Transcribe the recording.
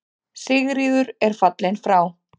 Sigríður er fallin frá.